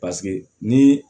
Paseke ni